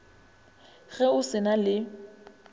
ge o se na le